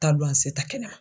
Taa ta kɛnɛma.